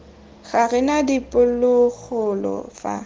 ga re na diphologolo fa